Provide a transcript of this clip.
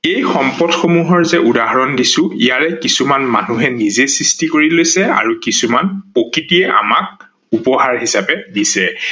এই সম্পদ সমূহৰ যে উদাহনণ দিছো ।ইয়াৰে কিছুমান মানুষে সৃষ্টি কৰি লৈছে আৰু কিছুমান প্ৰকৃতিয়ে আমাক উপহাৰ হিচাপে দিছে